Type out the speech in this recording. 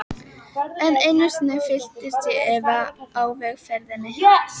Enn einu sinni fylltist ég efa á vegferðinni.